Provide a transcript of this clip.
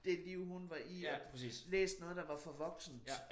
Det liv hun var i og læst noget der var for voksent